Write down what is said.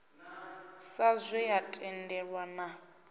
sa zwe ya tendelwa na